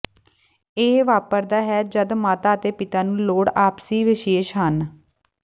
ਇਹ ਵਾਪਰਦਾ ਹੈ ਜਦ ਮਾਤਾ ਅਤੇ ਪਿਤਾ ਨੂੰ ਲੋੜ ਆਪਸੀ ਵਿਸ਼ੇਸ਼ ਹਨ